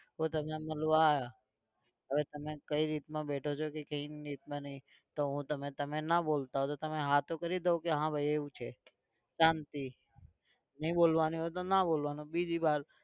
તો તમે મળવા આવ્યા હવે તમે કઈ રીતના બેઠો છું કઈ રીતના નહિ તો હું તમે તમે ના બોલતા હોવ તો તમે હા તો કરી દો કે હા ભાઈ એવું છે શાંતિ ની બોલવાનું હોય તો ના બોલવાનું બીજી વાત